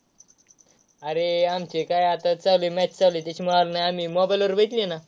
अरे आमची काय आता चालू आहे match चालू आहे. त्याच्यामुळं आम्ही mobile वर बघितली ना.